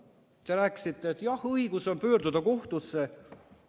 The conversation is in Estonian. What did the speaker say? Te rääkisite, et on õigus pöörduda kohtusse.